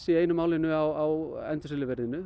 í einu málinu á